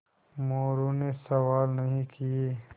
मोरू ने सवाल नहीं किये